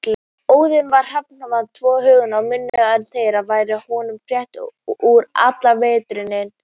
Óðinn á hrafnana tvo Huginn og Muninn en þeir færa honum fréttir úr allri veröldinni.